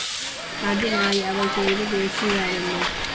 അതിനായി അവൾ തെരുവ് വേശ്യയാവുന്നു.